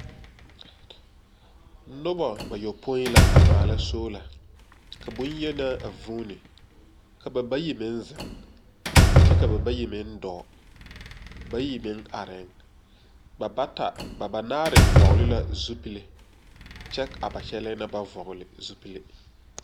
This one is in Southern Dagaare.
Noba bayopoi la a maala soola, ka boŋyenaa a vuuni ka ba bayi meŋ zeŋ kyɛ ka ba bayi meŋ dɔɔ. Bayi meŋ arrɛɛŋ. Ba bata, ba banaare vɔgele la zupile kyɛ a ba kyɛlɛɛ na ba vɔgele zupile.